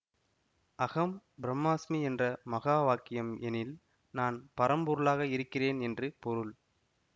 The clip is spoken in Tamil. அஹம் பிரம்மாஸ்மி என்ற மகாவாக்கியம் எனில் நான் பரம்பொருளாக இருக்கிறேன் என்று பொருள்